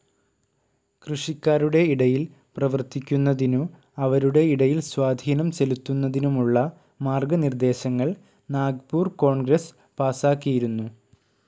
കൃഷിക്കാരുടെ ഇടയിൽ പ്രവർത്തിക്കുന്നതിനു, അവരുടെ ഇടയിൽ സ്വാധീനം ചെലുത്തുന്നതിനുമുള്ള മാർഗ്ഗ നിർദ്ദേശങ്ങൾ നാഗ്പൂർ കോൺഗ്രസ്‌ പാസ്സാക്കിയിരുന്നു.